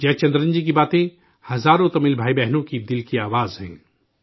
'' Jayachandran ji کی باتیں، ہزاروں تمل بھائی بہنوں کے دل کی بات ہے